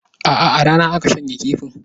Aa, a rana aka shanya kifin